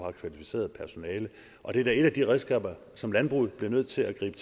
er kvalificeret personale det er da et af de redskaber som landbruget bliver nødt til at gribe